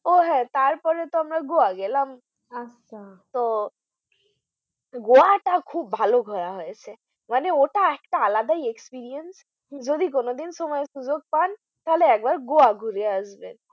ও হ্যাঁ তারপরে তো আমরা goa গেলাম আচ্ছা তো goa টা খুব ভালো ঘোরা হয়েছে মানে ওটা একটা আলাদাই experience যদি কোনোদিন ও সময় সুযোগ পান তাহলে একবার goa ঘুরে আসবেন